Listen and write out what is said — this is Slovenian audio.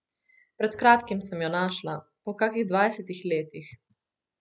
Pred kratkim sem jo našla, po kakih dvajsetih letih.